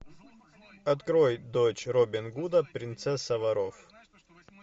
открой дочь робин гуда принцесса воров